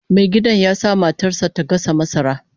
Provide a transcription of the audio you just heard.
Mai gadin ya sa matar sa ta gasa masara